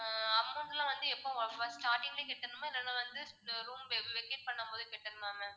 ஆஹ் amount எல்லாம் வந்து எப்போ first starting லயே கட்டணுமா இல்லன்னா வந்து இந்த room vacate பண்ணும்போது கட்டணுமா ma'am